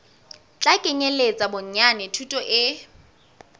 tla kenyeletsa bonyane thuto e